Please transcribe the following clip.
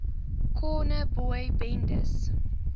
corner boy bendes